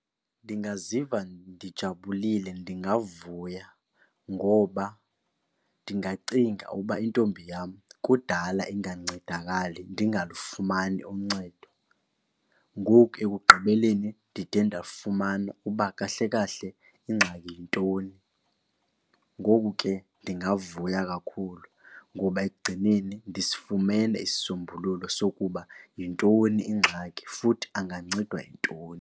Ndingaziva ndijabulile ndingavuya ngoba ndingacinga uba intombi yam kudala ingancedakali, ndingalifumani uncedo. Ngoku ekugqibeleni ndide ndafumana uba kahle kahle ingxaki yintoni. Ngoku ke ndingavuya kakhulu ngoba ekugcineni ndisifumene isisombululo sokuba yintoni ingxaki futhi angancedwa yintoni.